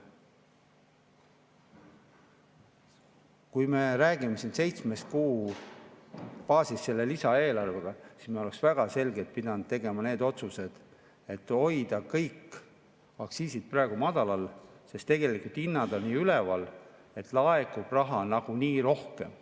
Kui me räägime siin seitsme kuu baasist selles lisaeelarves, siis me oleksime väga selgelt pidanud tegema need otsused, et hoida kõik aktsiisid praegu madalal, sest tegelikult hinnad on nii üleval, et raha laekub nagunii rohkem.